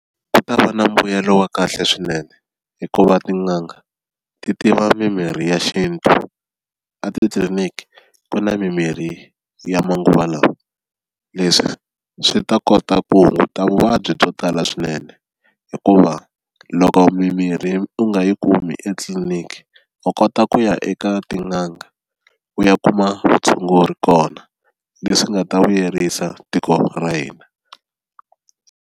Ku ta va na mbuyelo wa kahle swinene hikuva tin'anga ti tiva mimirhi ya xintu a titliliniki ku na mimirhi ya manguva lawa, leswi swi ta kota ku hunguta vuvabyi byo tala swinene hikuva loko mimirhi u nga yi kumi etliliniki u kota ku ya eka tin'anga u ya kuma vutshunguri kona leswi nga ta vuyerisa tiko ra hina.